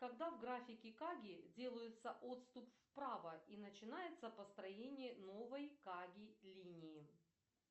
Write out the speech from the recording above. когда в графике каги делается отступ вправо и начинается построение новой каги линии